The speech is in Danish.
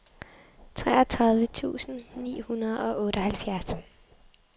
treogtredive tusind ni hundrede og otteoghalvfjerds